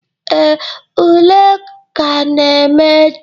Ee, ule ka ga-eme echi.